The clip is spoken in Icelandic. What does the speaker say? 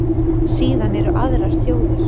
Síðan eru aðrar þjóðir.